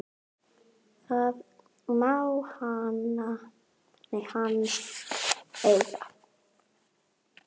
Það má hann eiga.